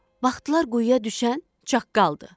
Baxdılar quyuya düşən çaqqaldır.